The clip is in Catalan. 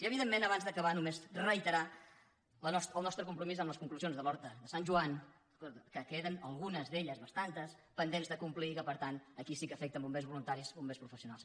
i evidentment abans d’acabar només reiterar el nostre compromís amb les conclusions de l’horta de sant j oan que queden algunes d’elles bastantes pendents de complir per tant aquí sí que afecten bombers voluntaris i bombers professionals